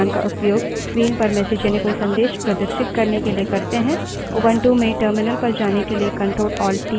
यहाँ सभी commands और उनके पर्याय छोटे अक्षर में हैं और जब नहीं है तब बताया गया है